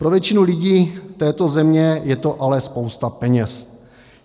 Pro většinu lidí této země je to ale spousta peněz.